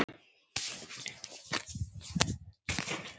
Vífill Atlason